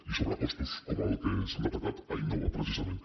i sobrecostos com els que s’han detectat a innova precisament